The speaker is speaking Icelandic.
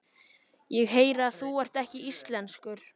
Ég heyri að þú ert ekki íslenskur.